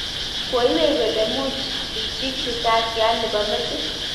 koiywei kole mui tuchi risasit nebo metit